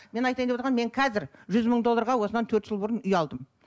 мен айтайын деп отырғаным мен қазір жүз мың долларға осынан төрт жыл бұрын үй алдым